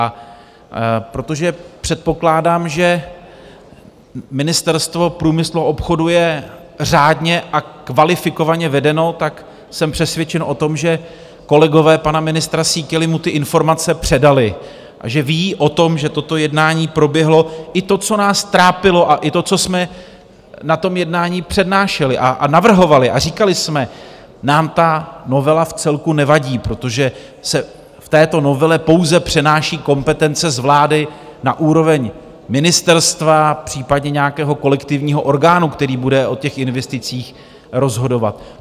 A protože předpokládám, že Ministerstvo průmyslu a obchodu je řádně a kvalifikovaně vedeno, tak jsem přesvědčen o tom, že kolegové pana ministra Síkely mu ty informace předali a že ví o tom, že toto jednání proběhlo, i to, co nás trápilo, a i to, co jsme na tom jednání přednášeli a navrhovali a říkali jsme: Nám ta novela vcelku nevadí, protože se v této novele pouze přenáší kompetence z vlády na úroveň ministerstva, případně nějakého kolektivního orgánu, který bude o těch investicích rozhodovat.